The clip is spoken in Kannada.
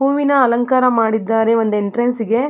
ಹೂವಿನ ಅಲಂಕಾರ ಮಾಡಿದ್ದಾರೆ ಒಂದು ಎಂಟ್ರೆನ್ಸಿಗ್ .